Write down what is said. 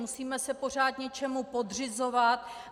Musíme se pořád něčemu podřizovat.